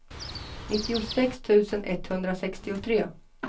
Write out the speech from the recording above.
nittiosex tusen etthundrasextiotre